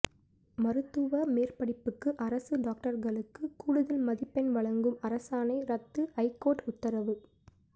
மருத்துவ மேற்படிப்புக்கு அரசு டாக்டர்களுக்கு கூடுதல் மதிப்பெண் வழங்கும் அரசாணை ரத்து ஐகோர்ட்டு உத்தரவு